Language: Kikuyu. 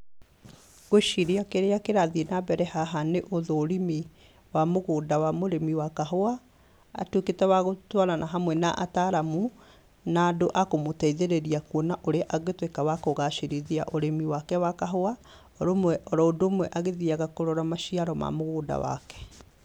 Ngwĩciria kĩrĩa kĩrathiĩ na mbere haha nĩ ũthũrimi wa mũgũnda wa mũrĩmi wa kahũa. Atuĩkĩte wa gũtwarana hamwe na ataramu na andũ a kũmũteithĩrĩria kuona kũrĩa angĩtuika wa kũgacĩrithia ũrĩmi wake wa kahũa, oro ũndũ ũmwe agĩthiyaga kũrora maciaro ma mũgũnda wake.